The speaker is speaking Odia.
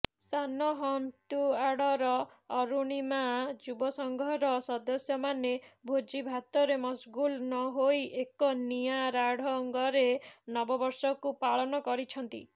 ସାନହନ୍ତୁଆଡର ଅରୁଣିମା ଯୁବକସଂଘର ସଦସ୍ୟମାନେ ଭୋଜିଭାତରେ ମସଗୁଲ୍ ନହୋଇ ଏକ ନିଆରାଢଙ୍ଗରେ ନବବର୍ଷକୁ ପାଳନ କରିଛନ୍ତି